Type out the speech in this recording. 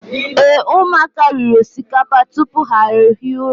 Ee, ụmụaka riri osikapa tupu ha ehi ụra.